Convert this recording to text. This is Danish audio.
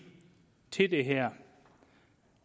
til det her